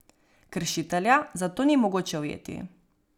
Kršitelja zato ni mogoče ujeti.